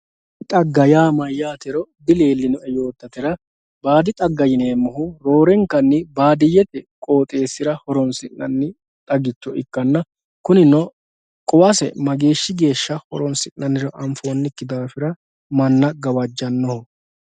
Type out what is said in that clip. Xagga yaa maayatero dilelinoe yotatera baddi xaaga yinemohu rorenkanni badiyete qoxesira horonsinanni xagicho ikanna kunino quwase magesha gesha horonsinaniro afoniki daafira mana gawajanoho